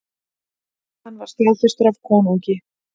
Hann var staðfestur af konungi.